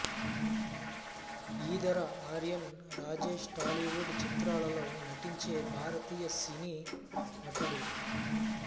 ఈదర ఆర్యన్ రాజేష్ టాలీవుడ్ చిత్రాలలో నటించే భారతీయ సినీ నటుడు